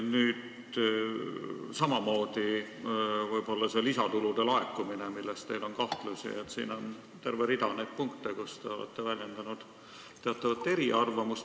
Samamoodi on teil kahtlusi lisatulude laekumise kohta, siin on terve rida punkte, mille kohta te olete väljendanud teatavat eriarvamust.